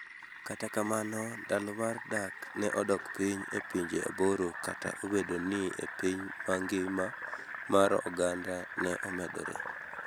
Kata kamano, ndalo mar dak ne odok piny e pinje aboro Kata obedo ni e piny ma ngima mar oganda ne omedore.